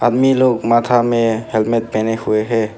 आदमी लोग माथा में हेलमेट पहने हुए हैं।